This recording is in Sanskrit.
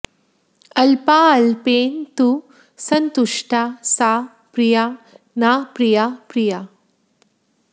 अल्पाल्पेन तु सन्तुष्टा सा प्रिया न प्रिया प्रिया